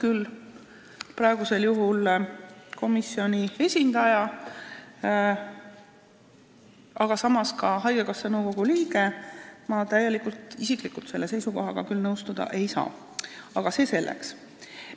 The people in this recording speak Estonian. Olen siin praegusel juhul komisjoni esindajana, aga olen ka haigekassa nõukogu liige ja tahan öelda, et ma isiklikult selle seisukohaga täielikult nõustuda küll ei saa, aga see selleks.